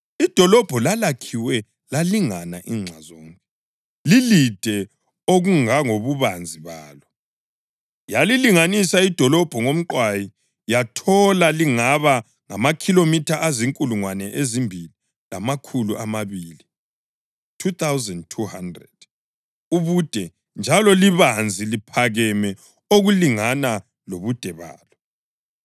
Idolobho lalakhiwe lalingana inxa zonke, lilide okungangobubanzi balo. Yalilinganisa idolobho ngomqwayi yathola lingaba ngamakhilomitha azinkulungwane ezimbili lamakhulu amabili (2,200) ubude njalo libanzi liphakeme okulingana lobude balo.